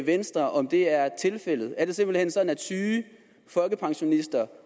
venstre om det er tilfældet er det simpelt hen sådan at syge folkepensionister